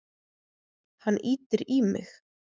Hann ýtir í mig.